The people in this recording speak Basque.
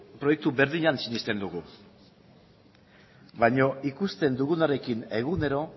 proiektu berdinean sinesten dugu baina ikusten dugunarekin egunero